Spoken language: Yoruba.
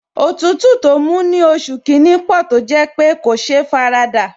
Òtútù tó mú ní oṣù kìíní pò tó jẹ́ pé kò sé faradà